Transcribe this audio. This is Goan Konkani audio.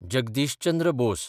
जगदीश चंद्र बोस